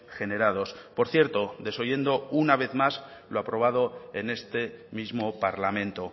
generados por cierto desoyendo una vez más lo aprobado en este mismo parlamento